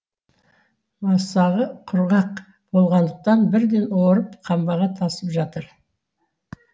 масағы құрғақ болғандықтан бірден орып қамбаға тасып жатыр